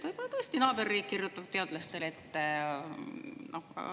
Võib-olla tõesti naaberriik kirjutab teadlastele ette.